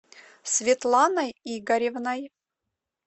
светланой игоревной